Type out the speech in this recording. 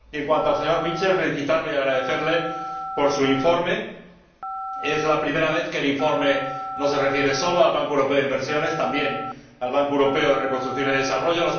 Y, en cuanto al señor Mitchell, quiero felicitarle y agradecerle su informe. Es la primera vez que el informe no se refiere sólo al Banco Europeo de Inversiones sino también al Banco Europeo de Reconstrucción y el Desarrollo.